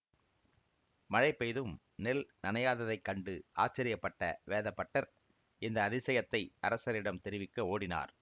மழை பெய்தும் நெல் நனையாததைக் கண்டு ஆச்சரியப்பட்ட வேதபட்டர் இந்த அதிசயத்தை அரசரிடம் தெரிவிக்க ஓடினார்